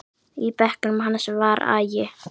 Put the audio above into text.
Í bekknum hans var agi.